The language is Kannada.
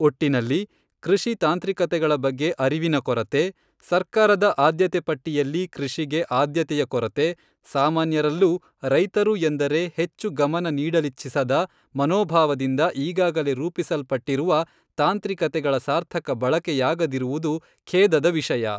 ಒಟ್ಟಿನಲ್ಲಿ ಕೃಷಿ ತಾಂತ್ರಿಕತೆಗಳ ಬಗ್ಗೆ ಅರಿವಿನ ಕೊರತೆ, ಸರ್ಕಾರದ ಆದ್ಯತೆ ಪಟ್ಟಿಯಲ್ಲಿ ಕೃಷಿಗೆ ಆದ್ಯತೆಯ ಕೊರತೆ, ಸಾಮಾನ್ಯರಲ್ಲೂ ರೈತರು ಎಂದರೆ ಹೆಚ್ಚು ಗಮನ ನೀಡಲಿಚ್ಛಿಸದ ಮನೋಭಾವದಿಂದ ಈಗಾಗಲೇ ರೂಪಿಸಲ್ಪಟ್ಟಿರುವ ತಾಂತ್ರಿಕತೆಗಳ ಸಾರ್ಥಕ ಬಳಕೆಯಾಗದಿರುವುದು ಖೇದದ ವಿಷಯ.